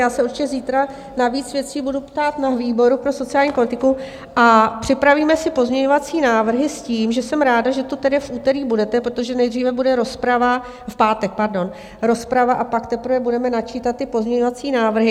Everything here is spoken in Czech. Já se určitě zítra na víc věcí budu ptát na výboru pro sociální politiku a připravíme si pozměňovací návrhy s tím, že jsem ráda, že tu tedy v úterý budete, protože nejdříve bude rozprava, v pátek, pardon, rozprava a pak teprve budeme načítat ty pozměňovací návrhy.